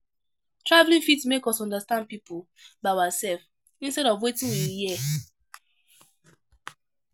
Travelling fit make us understand pipo by ourself instead of wetin we hear